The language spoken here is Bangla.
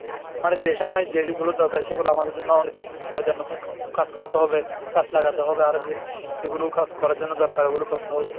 মানে যে সময় যে যেগুলো দরকার সেগুলো আমাদের জন্য অনুচিত তার জন্য কা~ কাজ করতে হবে। গাছ লাগাতে হবে আরো যে যেগুলো কাজ করার জন্য দরকার ওগুলো করতে হবে।